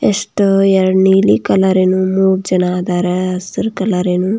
ಎಷ್ಟು ಎರಡು ನೀಲಿ ಕಲರೆ ನ ಮೂರು ಜನ ಅದಾರ ಹಸಿರು ಕಲರೆ ನ --